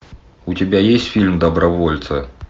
у тебя есть фильм добровольцы